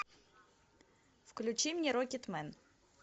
включи мне рокетмен